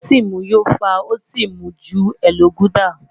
O si mu yó fa o si mu ju Elo gulder